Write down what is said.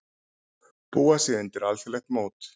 Búa sig undir alþjóðlegt mót